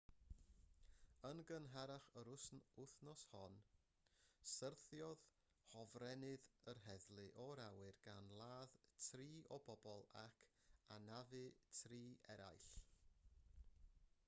yn gynharach yr wythnos hon syrthiodd hofrennydd yr heddlu o'r awyr gan ladd tri o bobl ac anafu tri arall